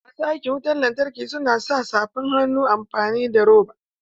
Masu aikin wutan lantarki su na sa safan hannu amfani da roba